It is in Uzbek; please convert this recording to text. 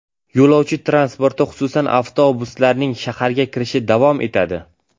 Yo‘lovchi transporti, xususan, avtobuslarning shaharga kirishi davom etadi.